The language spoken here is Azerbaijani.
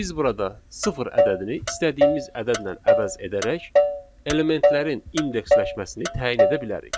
Biz burada sıfır ədədini istədiyimiz ədədlə əvəz edərək elementlərin indeksləşməsini təyin edə bilərik.